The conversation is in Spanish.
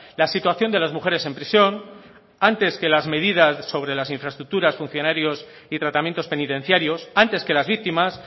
la situación de las mujeres en prisión antes que las medidas sobre las infraestructuras funcionarios y tratamientos penitenciarios antes que las víctimas